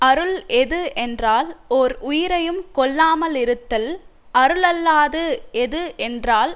அருள் எது என்றால் ஓர் உயிரையும் கொல்லாமலிருத்தல் அருளல்லாது எது என்றால்